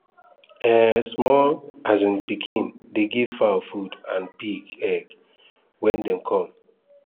um small um pikin dey give fowl food and pick egg when dem come